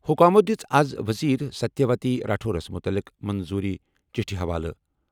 حکامَو دِژ آز وزیر ستیہ وتی راٹھورَس مُتعلقہٕ منظوٗری چِٹھہِ حوالہٕ۔